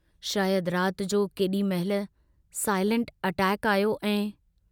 शायद रात जो केडी महिल साईलेंट अटैक आयो ऐं....